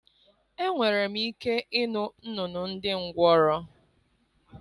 Enwere m ike ịnụ nnụnụ ndị ngwọrọ.